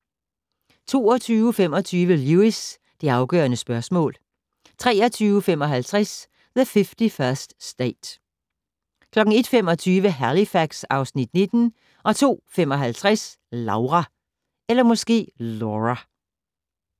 22:25: Lewis: Det afgørende spørgsmål 23:55: The 51st State 01:25: Halifax (Afs. 19) 02:55: Laura